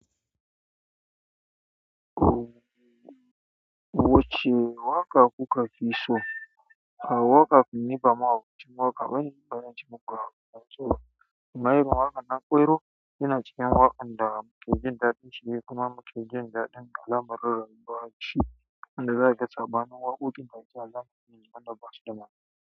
Wace waƙa kuka fi so, a waƙa kun niɓa mahauci, waƙa bani banbanci muku a masoya. Waye ma waƙan nana ƙwairo yana cikin waƙa da muke jin daɗin cire kuma muke jin daɗin da alamarin ruwan wanda zaka ga sabanin waƙoƙin da za su zama manyan wanɗa basu da ma'ana.